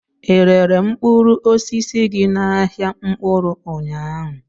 Ị rere mkpụrụ osisi gị n'ahịa mkpụrụ ụnyaahụ?